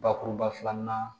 Bakuruba filanan